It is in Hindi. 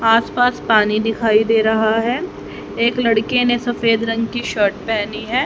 आसपास पानी दिखाई दे रहा है एक लड़के ने सफेद रंग की शर्ट पहनी है।